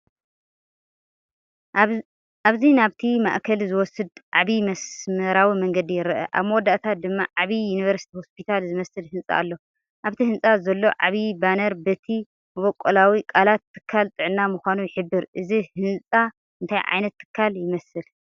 ኣብዚ ናብቲ ማእከል ዝወስድ ዓቢ መስመራዊ መንገዲ ይርአ፣ ኣብ መወዳእታ ድማ ዓቢ ዩኒቨርሲቲ ሆስፒታል ዝመስል ህንጻ ኣሎ። ኣብቲ ህንጻ ዘሎ ዓቢ ባነር በቲ መበቆላዊ ቃላት ትካል ጥዕና ምዃኑ ይሕብር። እዚ ህንጻ እንታይ ዓይነት ትካል ይመስል?